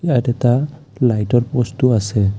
ইয়াত এটা লাইটৰ পোষ্টও আছে।